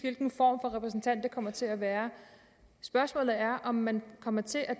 hvilken form for repræsentant det kommer til at være spørgsmålet er om man kommer til at